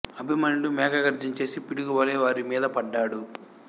అభిమన్యుడు మేఘఘర్జన చేసి పిడుగు వలె వారి మీద పడ్డాడు